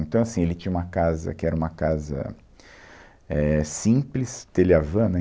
Então, assim, ele tinha uma casa que era uma casa, éh, simples, telha-vã, né?